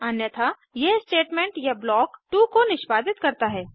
अन्यथा यह स्टेटमेंट या ब्लॉक 2 को निष्पादित करता है